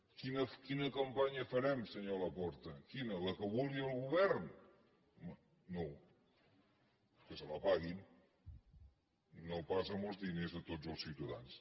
quina campanya farem se·nyor laporta quina la que vulgui el govern home no que se la paguin i no pas amb els diners de tots els ciutadans